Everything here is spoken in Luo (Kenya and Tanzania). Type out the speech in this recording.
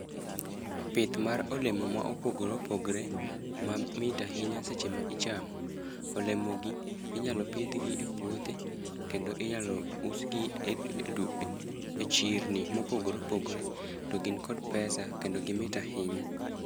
Pith mar olemo ma opogore opogre ma mit ahinya seche ma ichamo. Olemo gi inyalo pidh gi e puothe, kendo inyalo us gi e du e chirni mopogore opogore. To gin kod pesa kendo gimit ahinya.